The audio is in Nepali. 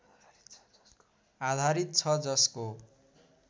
आधारित छ जसको